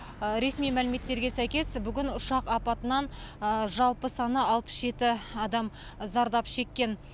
ресми мәліметтерге сәйкес бүгін ұшақ апатынан жалпы саны алпыс жеті адам зардап шеккен